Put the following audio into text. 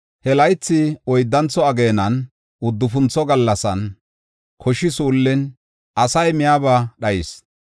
He laythi oyddantho ageenan, uddufuntho gallasan, koshi suullin, asay miyaba dhayis.